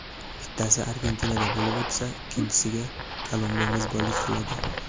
Bittasi Argentinada bo‘lib o‘tsa, ikkinchisiga Kolumbiya mezbonlik qiladi.